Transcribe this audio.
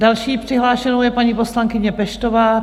Další přihlášenou je paní poslankyně Peštová.